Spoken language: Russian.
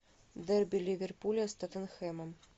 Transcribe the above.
дерби ливерпуля с тоттенхэмом